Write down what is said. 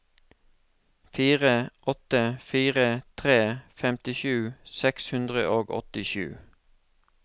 fire åtte fire tre femtisju seks hundre og åttisju